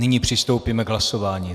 Nyní přistoupíme k hlasování.